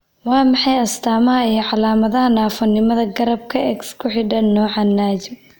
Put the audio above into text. Waa maxay astamaha iyo calaamadaha naafonimada garaadka ee X ku xidhan, nooca Najm?